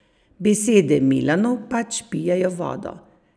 Besede Milanov pač pijejo vodo.